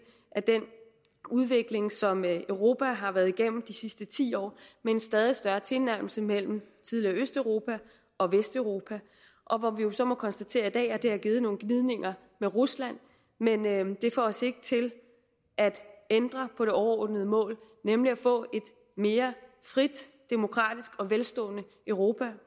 af den udvikling som europa har været igennem de sidste ti år med en stadig større tilnærmelse mellem det tidligere østeuropa og vesteuropa og hvor vi jo så må konstatere at det har givet nogle gnidninger med rusland men det får os ikke til at ændre på det overordnede mål nemlig at få et mere frit demokratisk og velstående europa